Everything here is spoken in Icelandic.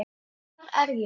HVAR ER ÉG?